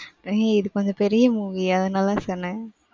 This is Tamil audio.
ஏய் இது கொஞ்சம் பெரிய movie அதனால சொன்னேன்.